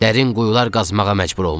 "Dərin quyular qazmağa məcbur olmuşuq."